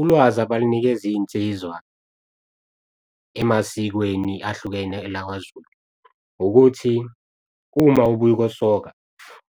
Ulwazi abalinikeza iy'nsizwa emasikweni ahlukene elakwaZulu ukuthi, uma ubuya ukosoka